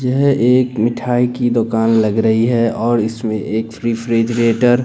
यह एक मिठाई की दुकान लग रही है और इसमें एक फ्री फ्रीजरेटर --